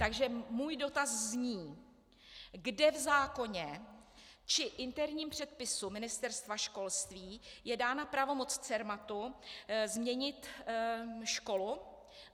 Takže můj dotaz zní, kde v zákoně či interním předpisu Ministerstva školství je dána pravomoc Cermatu změnit školu.